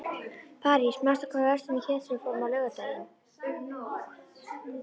París, manstu hvað verslunin hét sem við fórum í á laugardaginn?